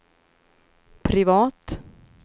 privat